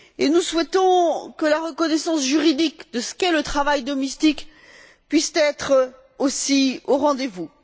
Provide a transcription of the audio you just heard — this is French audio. Nous souhaitons que la reconnaissance juridique de ce qu'est le travail domestique puisse être aussi au rendez vous.